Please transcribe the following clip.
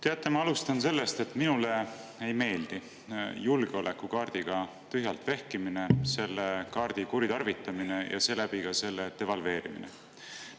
Teate, ma alustan sellest, et minule ei meeldi julgeolekukaardiga tühjalt vehkimine, selle kaardi kuritarvitamine ja seeläbi ka selle devalveerimine.